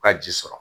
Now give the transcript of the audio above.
U ka ji sɔrɔ